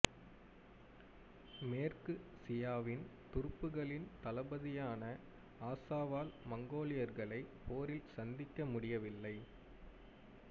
மேற்கு சியாவின் துருப்புகளின் தளபதியான அசாவால் மங்கோலியர்களை போரில் சந்திக்க முடியவில்லை